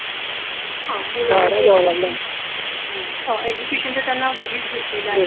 हां Education तर त्यांना घरीच भेटलेल आहे.